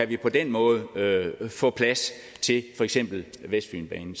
vi på den måde kan få plads til for eksempel vestfynbanen